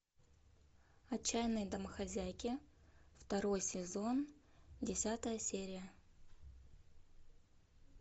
отчаянные домохозяйки второй сезон десятая серия